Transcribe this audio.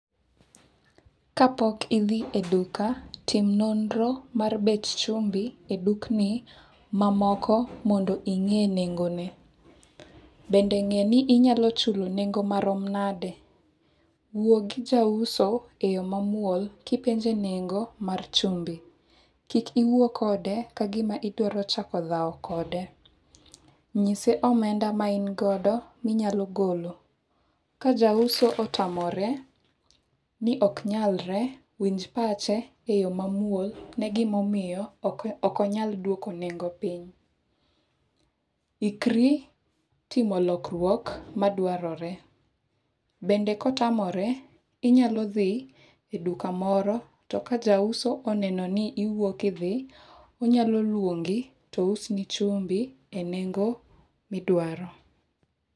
Ka pok idhi e duka, tim nonro mar bech chumbi e dukni mamoko mondo ing'e nengo ne. Bende ng'e ni inyalo chulo nengo marom nade. Wuo gi jauso e yo mamuol kipenje nengo mar chumbi. Kik iwuo kode kagima idwaro chako dhao kode. Nyise omenda ma in godo minyalo golo. Ka jauso otamore, ni oknyalre, winj pache e yo mamuol ne gima omiyo ok onyal duoko nengo piny. Ikri timo lokruok madwarore. Bende kotamore, inyalo dhi e duka moro to ka jauso oneno ni iwuok idhi, onyalo luongi tous ni chumbi e nengo midwaro.